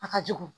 A ka jugu